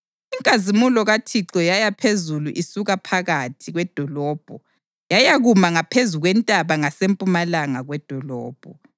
Inkazimulo kaThixo yaya phezulu isuka phakathi kwedolobho yayakuma ngaphezu kwentaba ngasempumalanga kwedolobho.